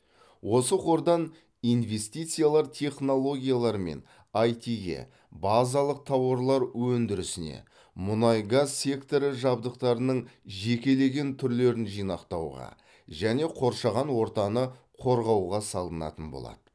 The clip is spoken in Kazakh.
осы қордан инвестициялар технологиялар мен ай ти ге базалық тауарлар өндірісіне мұнай газ секторы жабдықтарының жекелеген түрлерін жинақтауға және қоршаған ортаны қорғауға салынатын болады